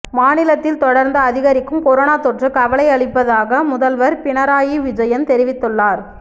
மாநிலத்தில் தொடர்ந்து அதிகரிக்கும் கொரோனா தொற்று கவலை அளிப்தாக முதல்வர் பினராயி விஜயன் தெரிவித்துள்ளார்